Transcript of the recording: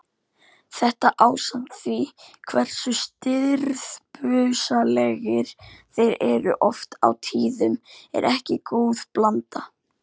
Þetta ásamt því hversu stirðbusalegir þeir eru oft á tíðum er ekki góð blanda.